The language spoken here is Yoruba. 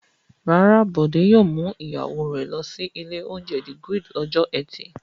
Rárá, Bọ̀dé yóò mú ìyàwó rẹ̀ lọ sí ilé-oúnjẹ The Grid lọ́jọ́ ẹtì.